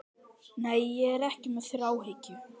Nei, ég er ekki með þráhyggju.